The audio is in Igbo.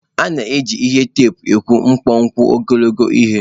A na-eji ihe teepu akọwa kpọmkwem ogologo ihe.